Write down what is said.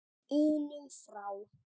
unum frá.